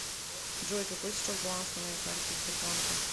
джой какой сейчас баланс на моей карте сбербанка